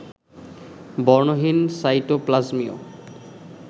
বর্ণহীন সাইটোপ্লাজমীয়